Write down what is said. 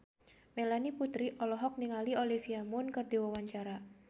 Melanie Putri olohok ningali Olivia Munn keur diwawancara